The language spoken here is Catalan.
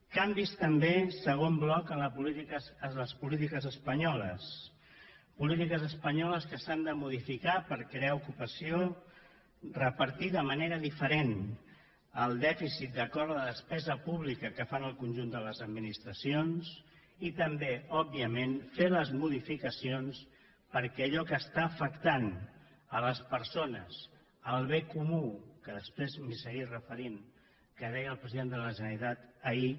canvis també segon bloc en les polítiques espanyoles polítiques espanyoles que s’han de modificar per crear ocupació repartir de manera diferent el dèficit d’acord amb la despesa pública que fan el conjunt de les administracions i també òbviament fer les modificacions perquè allò que afecta les persones el bé comú que després m’hi seguiré referint que deia el president de la generalitat ahir